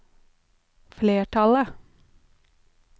flertallet